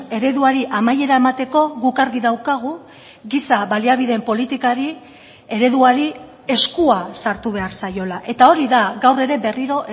ereduari amaiera emateko guk argi daukagu giza baliabideen politikari ereduari eskua sartu behar zaiola eta hori da gaur ere berriro